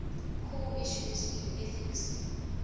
core issues in ethics